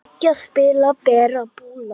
Byggja- spila- perla- púsla